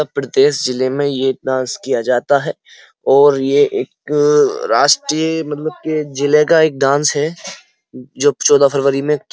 प्रदेश जिल्ले में यह डांस किया जाता है और यह एक राष्ट्रीय मतलब के जिले का एक डांस है। जो चोदह फरवरी में --